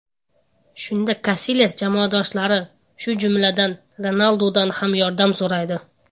Shunda Kasilyas jamoadoshlari, shu jumladan, Ronaldudan ham yordam so‘raydi.